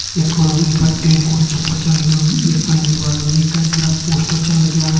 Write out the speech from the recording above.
यख फुणु यी पर टीन कू छपर छा लग्युं यख फण दीवाल मा जी कई सारा पोस्टर छन लग्यां।